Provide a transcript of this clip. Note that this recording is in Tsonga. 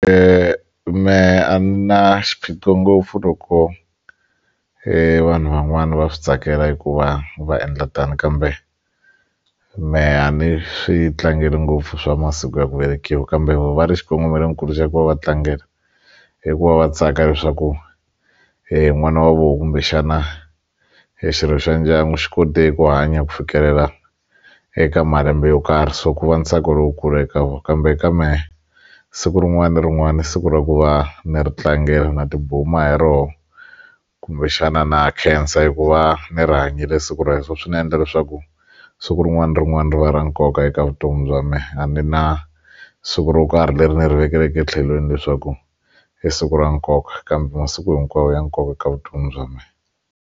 Mehe a na xiphiqo ngopfu loko e vanhu van'wani va swi tsakela eku va va endla tano kambe mehe a ni swi tlangeli ngopfu swa masiku ya ku velekiwa kambe va ri xikongomelonkulu xa ku va va tlangela i ku va va tsaka leswaku n'wana wa vona kumbexana hi xirho xa ndyangu xi kote ku hanya ku fikelela eka malembe yo karhi so ku va ntsako lowukulu eka vona kambe ka mehe siku rin'wana na rin'wana siku ra ku va ni ri tlangela na tibuma hi roho kumbexana na khensa eku va ni ri hanyile siku ra so swi ta endla leswaku siku rin'wana ra rin'wana ri va ra nkoka eka vutomi bya me a ni na siku ro karhi leri ni ri vekelaka etlhelweni leswaku i siku ra nkoka kambe masiku hinkwawo ya nkoka eka vutomi bya me.